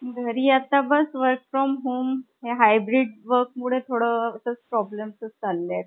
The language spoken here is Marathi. घरी बस आता work from home , हे hybrid work मुळे सध्या problem ्सचं चालेत .